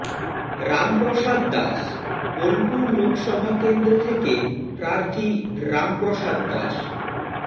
রামপ্রসাদ দাস বোলপুর লোকসভা কেন্দ্র থেকে প্রার্থী রামপ্রসাদ দাস